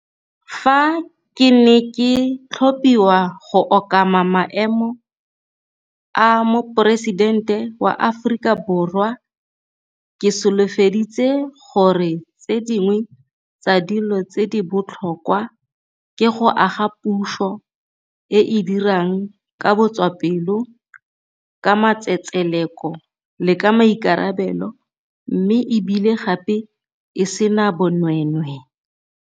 Fa ke ne ke tlhophiwa go okama maemo a Moporesitente wa Aforika Borwa, ke solofedi tse gore tse dingwe tsa dilo tse di botlhokwa ke go aga puso e e dirang ka botswa pelo, ka matsetseleko le ka maikarabelo mme e bile gape e sena bonweenwee.